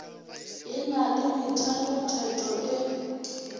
e na le methalotheto e